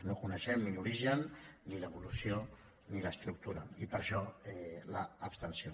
no en coneixem ni l’origen ni l’evolució ni l’estructura i per això l’abstenció